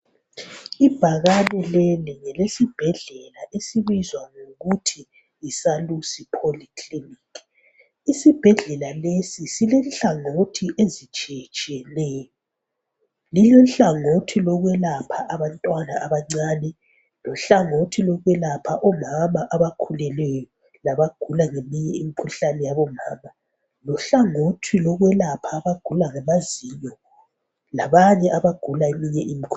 ibhakane leli ngelesibhedlela esibizwa ngokuthi yi Salus polyclinic isibhedlela lesi silenhlangothi ezitshiyetshiyeneyo lile nhlangothi lokwelapha abantwana abancane lehlangothi lokwelapha omama abakhulelweyo labagula eminye imikhuhlane lehlangothi lokwelapha abagula ngamazinyo labanye abagula eminye imikhuhlane